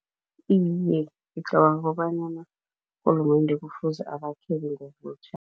Iye, ngicabanga kobanyana urhulumende kufuze abakhele ngobutjha.